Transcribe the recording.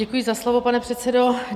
Děkuji za slovo, pane předsedo.